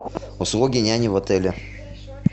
услуги няни в отеле